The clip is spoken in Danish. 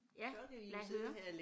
Ja lad høre